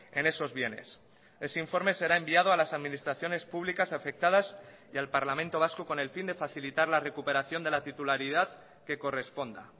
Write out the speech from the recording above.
en esos bienes ese informe será enviado a las administraciones públicas afectadas y al parlamento vasco con el fin de facilitar la recuperación de la titularidad que corresponda